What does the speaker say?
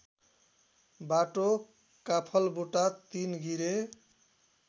बाटो काफलबुटा तिनगिरे